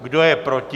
Kdo je proti?